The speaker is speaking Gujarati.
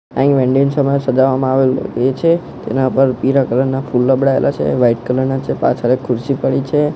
અહીં સજાવવામાં આવેલું એ છે તેના પર પીળા કલર ના ફૂલ લબડાવેલા છે વાઈટ કલર ના છે પાછળ ખુરશી પડી છે.